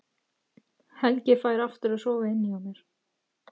Helgi fær aftur að sofa inni hjá mér.